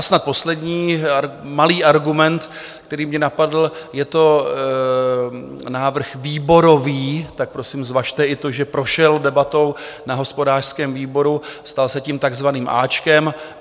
A snad poslední malý argument, který mě napadl - je to návrh výborový, tak prosím zvažte i to, že prošel debatou na hospodářském výboru, stal se tím takzvaným áčkem.